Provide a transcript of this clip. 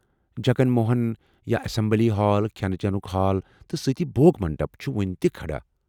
جگن موہن ، یا assembly hall, كھینہٕ چنُك ہال ، تہٕ سۭتۍ بھوگ منڈپ ، چُھ وُنہِ تہِ كھڑا۔